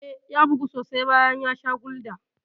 Eh, ya bugu sosai bayan ya sha Gulda.